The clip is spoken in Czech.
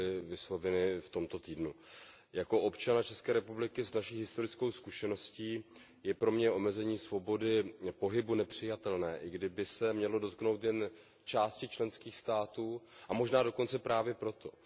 Pro mě jako občana České republiky s naší historickou zkušeností je omezení svobody pohybu nepřijatelné, i kdyby se mělo dotknout jen části členských států, a možná dokonce právě proto.